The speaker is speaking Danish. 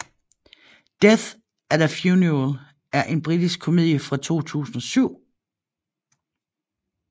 Death at a Funeral er en britisk komedie fra 2007